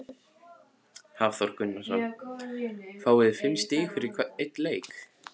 Hafþór Gunnarsson: Fáið þið fimm stig fyrir einn leik?